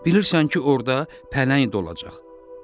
Bilirsən ki, orada pələng olacaq.